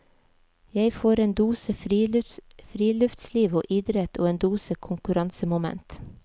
Jeg får en dose friluftsliv og idrett og en dose konkurransemoment.